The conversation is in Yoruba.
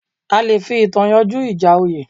A le fi ìtàn yanjú ìjà oyè